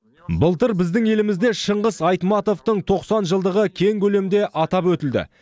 былтыр біздің елімізде шыңғыс айтматовтың тоқсан жылдығы кең көлемде атап өтілді